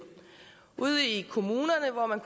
ude i kommunerne hvor man